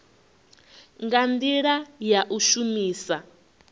nga ndila ya u shumisa